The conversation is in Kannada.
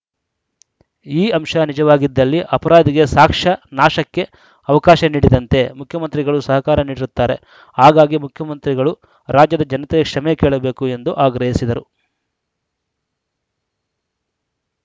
ಈ ಅಂಶ ನಿಜವಾಗಿದ್ದಲ್ಲಿ ಅಪರಾಧಿಗೆ ಸಾಕ್ಷ ನಾಶಕ್ಕೆ ಅವಕಾಶ ನೀಡಿದಂತೆ ಮುಖ್ಯಮಂತ್ರಿಗಳು ಸಹಕಾರ ನೀಡಿರುತ್ತಾರೆ ಹಾಗಾಗಿ ಮುಖ್ಯಮಂತ್ರಿಗಳು ರಾಜ್ಯದ ಜನತೆಯ ಕ್ಷಮೆ ಕೇಳಬೇಕು ಎಂದು ಆಗ್ರಹಿಸಿದರು